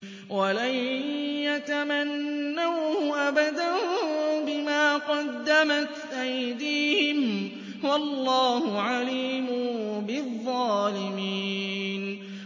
وَلَن يَتَمَنَّوْهُ أَبَدًا بِمَا قَدَّمَتْ أَيْدِيهِمْ ۗ وَاللَّهُ عَلِيمٌ بِالظَّالِمِينَ